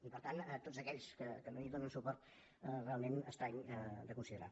i per tant tots aquells que no hi donen suport realment estrany de considerar